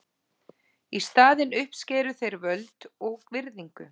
Í staðinn uppskæru þeir völd og virðingu.